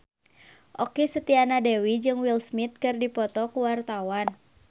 Okky Setiana Dewi jeung Will Smith keur dipoto ku wartawan